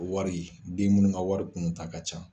Wari den minnu ka wari tunu ta ka ca.